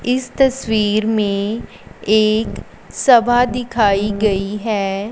इस तस्वीर में एक सभा दिखाई गयी हैं।